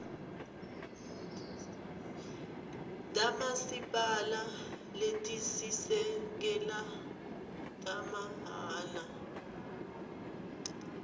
tamasipala letisisekelo tamahhala